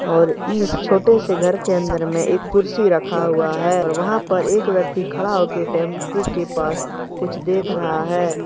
और इस छोटे से घर के अंदर में एक कुर्सी रखा हुआ है और वहां पर एक व्यक्ति खड़ा हो के टेंपो के पास कुछ देख रहा है।